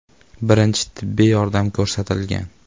Birinchi tibbiy yordam ko‘rsatilgan.